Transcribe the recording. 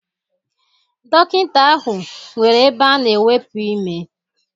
Dọkịnta ahụ nwere ebe a na-ewepu ime.